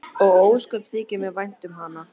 Og ósköp þykir mér vænt um hana.